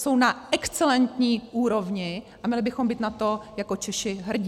Jsou na excelentní úrovni a měli bychom být na to jako Češi hrdí.